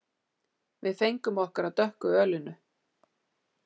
Við fengum okkur af dökku ölinu.